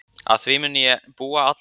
Að því mun ég búa alla tíð.